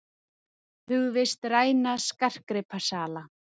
Hugðist ræna skartgripasala